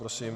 Prosím.